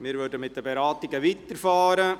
Wir würden mit den Beratungen weiterfahren.